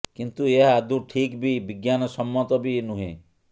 କିନ୍ତୁ ଏହା ଆଦୌ ଠିକ୍ କି ବିଜ୍ଞାନସମ୍ମତ ବି ନୁହେଁ